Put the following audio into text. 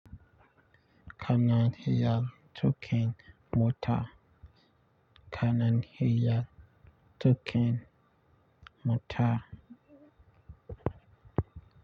Kanan iya tukin mota. Kanan hiya tukin mota.